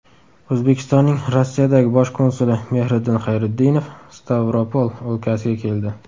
O‘zbekistonning Rossiyadagi bosh konsuli Mehriddin Xayriddinov Stavropol o‘lkasiga keldi.